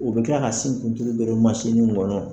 U bɛ tila ka sin don masin kɔnɔ.